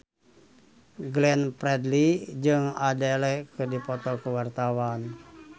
Glenn Fredly jeung Adele keur dipoto ku wartawan